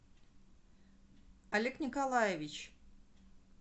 олег николаевич